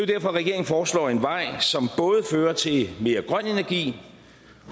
derfor regeringen foreslår en vej som både fører til mere grøn energi